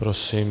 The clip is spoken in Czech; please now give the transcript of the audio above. Prosím.